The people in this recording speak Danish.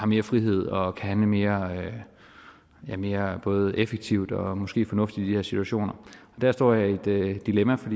mere frihed og kan handle mere mere både effektivt og måske fornuftigt i de her situationer der står jeg i et dilemma for